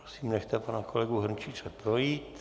Prosím, nechte pana kolegu Hrnčíře projít.